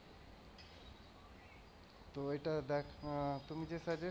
তো ওইটা দেখো তুমি যে suggest করলে,